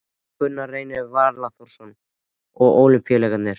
Gunnar Reynir Valþórsson: Og Ólympíuleikarnir?